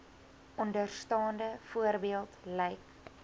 onderstaande voorbeeld lyk